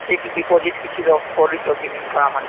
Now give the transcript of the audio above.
fixed deposit କିଛି କରିଛ କି ନାଇଁ ଛୁଆ ମାନଙ୍କ ନା ରେ